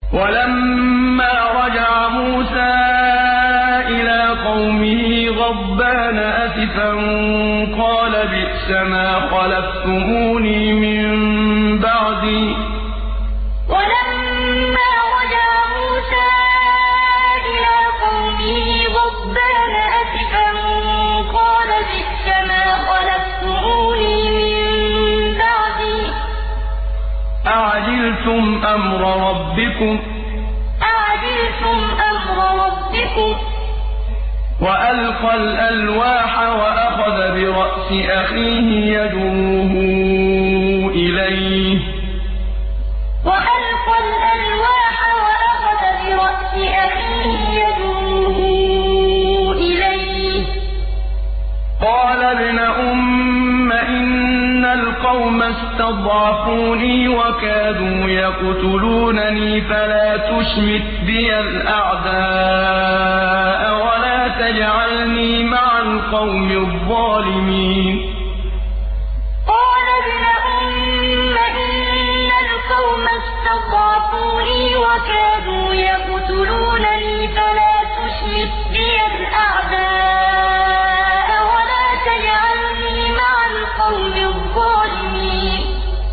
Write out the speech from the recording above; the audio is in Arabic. وَلَمَّا رَجَعَ مُوسَىٰ إِلَىٰ قَوْمِهِ غَضْبَانَ أَسِفًا قَالَ بِئْسَمَا خَلَفْتُمُونِي مِن بَعْدِي ۖ أَعَجِلْتُمْ أَمْرَ رَبِّكُمْ ۖ وَأَلْقَى الْأَلْوَاحَ وَأَخَذَ بِرَأْسِ أَخِيهِ يَجُرُّهُ إِلَيْهِ ۚ قَالَ ابْنَ أُمَّ إِنَّ الْقَوْمَ اسْتَضْعَفُونِي وَكَادُوا يَقْتُلُونَنِي فَلَا تُشْمِتْ بِيَ الْأَعْدَاءَ وَلَا تَجْعَلْنِي مَعَ الْقَوْمِ الظَّالِمِينَ وَلَمَّا رَجَعَ مُوسَىٰ إِلَىٰ قَوْمِهِ غَضْبَانَ أَسِفًا قَالَ بِئْسَمَا خَلَفْتُمُونِي مِن بَعْدِي ۖ أَعَجِلْتُمْ أَمْرَ رَبِّكُمْ ۖ وَأَلْقَى الْأَلْوَاحَ وَأَخَذَ بِرَأْسِ أَخِيهِ يَجُرُّهُ إِلَيْهِ ۚ قَالَ ابْنَ أُمَّ إِنَّ الْقَوْمَ اسْتَضْعَفُونِي وَكَادُوا يَقْتُلُونَنِي فَلَا تُشْمِتْ بِيَ الْأَعْدَاءَ وَلَا تَجْعَلْنِي مَعَ الْقَوْمِ الظَّالِمِينَ